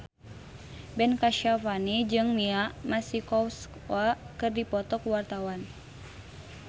Ben Kasyafani jeung Mia Masikowska keur dipoto ku wartawan